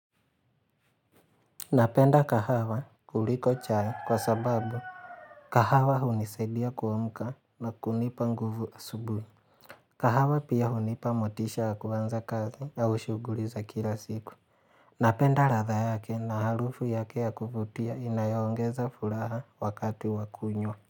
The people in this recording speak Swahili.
Napenda kahawa kuliko chai kwa sababu kahawa hunisidia kuamka na kunipa nguvu asubuhi kahawa pia hunipa motisha ya kuanza kazi au shuguli za kila siku. Napenda radha yake na harufu yake ya kuvutia inayoongeza furaha wakati wakunywa.